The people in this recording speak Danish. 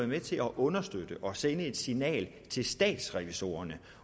med til at understøtte og sende et signal til statsrevisorerne